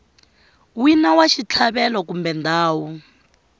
wina wa xitlhavelo kumbe ndhawu